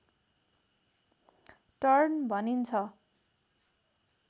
turn भनिन्छ